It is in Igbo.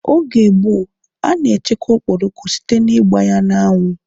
Oge gboo, a na echekwa okporoko site ná ịgba ya n'anwu